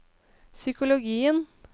psykologien